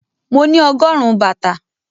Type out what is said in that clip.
Mo ní ọgọ́rùn-ún bàtà.